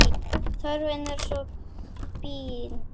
Þörfin er svo brýn.